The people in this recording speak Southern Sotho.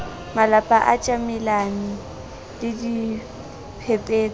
malapa a tjamelane le diphepetso